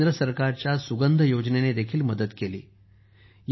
त्यांना केंद्र सरकारच्या सुगंध योजनेने देखील मदत केली आहे